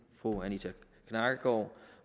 fru anita knakkergaard